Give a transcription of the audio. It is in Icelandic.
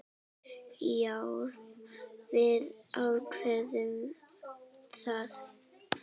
Já, við ákváðum það.